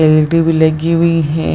LED. भी लगी हुई है।